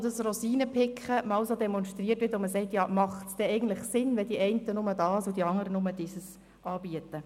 Das Rosinenpicken wurde wieder einmal thematisiert, und man überlegt sich, ob es sinnvoll ist, wenn die einen nur dies und die anderen nur jenes anbieten.